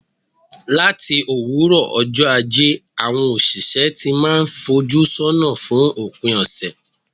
Láti òwúrọ̀ ọjọ́ Ajé, àwọn òṣìṣẹ́ ti n máà fojú sọ́nà fún òpin ọ̀sẹ̀.